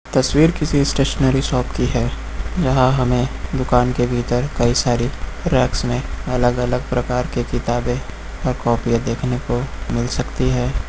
तस्वीर किसी stationery shop की है यहां हमें दुकान के भीतर कई सारी रैक्स में अलग अलग प्रकार के किताबें और कॉपियां देखने को मिल सकती है।